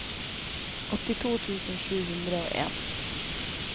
åttito tusen sju hundre og en